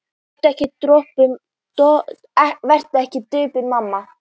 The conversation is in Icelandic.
Vertu ekki döpur mamma mín.